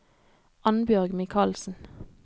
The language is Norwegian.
Annbjørg Mikalsen